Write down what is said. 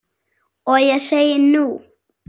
Og ég segi, nú?